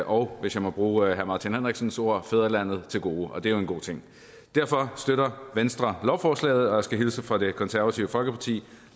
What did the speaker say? og hvis jeg må bruge herre martin henriksens ord fædrelandet til gode og det er jo en god ting derfor støtter venstre lovforslaget og jeg skal hilse fra det konservative folkeparti